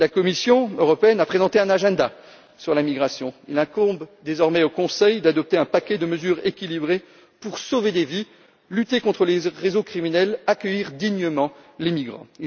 La Commission a présenté un agenda sur la migration. Il incombe désormais au Conseil d'adopter un paquet de mesures équilibré pour sauver des vies, lutter contre les réseaux criminels et accueillir dignement les migrants.